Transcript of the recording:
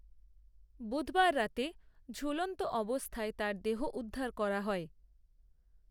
বুধবার রাতে ঝূলন্ত অবস্থায় তার দেহ উদ্ধার করা হয়